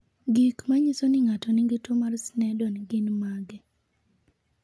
Gik manyiso ni ng'ato nigi tuwo mar Sneddon gin mage?